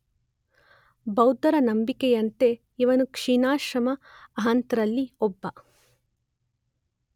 ಬೌದ್ಧರ ನಂಬಿಕೆಯಂತೆ ಇವನು ಕ್ಷೀಣಾಶ್ರವ ಅರ್ಹಂತರಲ್ಲಿ ಒಬ್ಬ.